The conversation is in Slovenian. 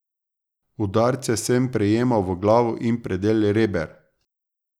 Udarce sem prejemal v glavo in predel reber.